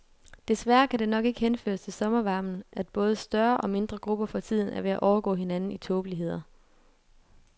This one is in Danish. Desværre kan det nok ikke henføres til sommervarmen, at både større og mindre grupper for tiden er ved at overgå hinanden i tåbeligheder.